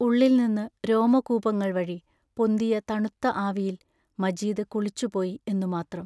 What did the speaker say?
ഉള്ളിൽനിന്നു രോമകൂപങ്ങൾ വഴി പൊന്തിയ തണുത്ത ആവിയിൽ മജീദ് കുളിച്ചുപോയി എന്നുമാത്രം.